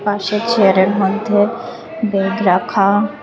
পাশের চেয়ারের মধ্যে বেগ রাখা।